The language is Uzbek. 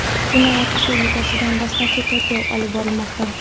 Jinoyat ishi yuzasidan dastlabki tergov olib borilmoqda.